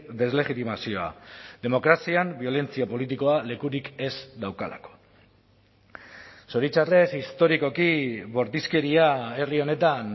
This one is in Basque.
deslegitimazioa demokrazian biolentzia politikoa lekurik ez daukalako zoritxarrez historikoki bortizkeria herri honetan